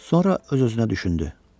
Sonra öz-özünə düşündü.